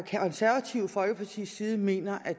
konservative folkepartis side mener at